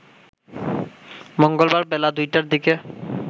মঙ্গলবার বেলা ২টার দিকে